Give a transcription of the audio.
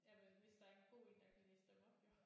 Ja men hvis der er en god en der kan læse dem op jo